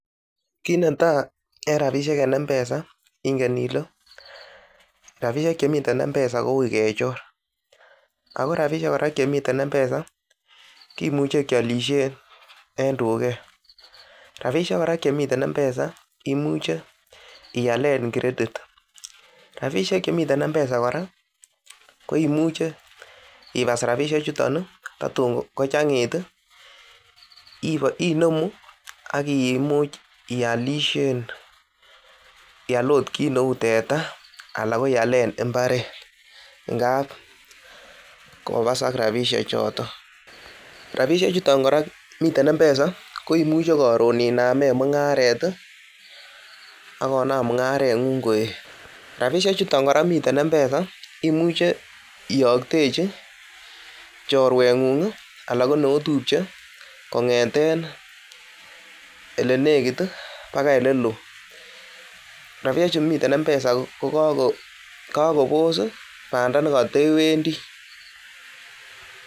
Kit netai en rabishek en mpesa ingen ile rabishek chemiten mpesa kouui kechorako rabishek kora chemiten mpesa kimuche kiolishen en duket rabushek koraa chemiten mpesa imuche ialen kiretit rabushek chemiten mpesa koraa ko imuche ibas rabishek chuton iitatun kachangit inemuu ak imuch ialishen ial ok kit neu tetaa al ko ialen imparet ingap kobasak rabishechoton rabishek chuton miten mpesa ko imuche koron inamen mungaret iiak konam mungaret ngung koet rabishek chuton miten mpesa imuch iyotechi chorwengung ala ko neotupche kongeten olenekit bakai neloo rabishek chemiten mpesa ko kakoboss bandaa nekatwwndi.